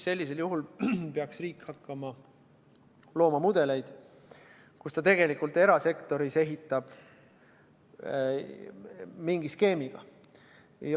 Sellisel juhul peaks riik hakkama looma mudeleid, kus ta ehitab tegelikult erasektoris mingi skeemiga.